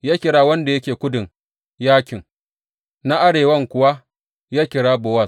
Ya kira wanda yake kudun, Yakin, na arewan kuwa ya kira Bowaz.